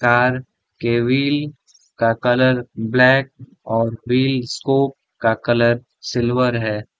Tyre के wheel का colour black और व्हील स्कोप का कलर सिल्वर है ।